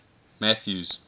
mathews